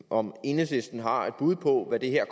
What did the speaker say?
om enhedslisten har et bud på hvad det her